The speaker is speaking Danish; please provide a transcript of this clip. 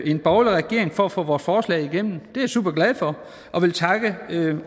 en borgerlig regering for at få vores forslag igennem det er jeg superglad for